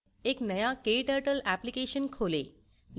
एक नया kturtle application खोलें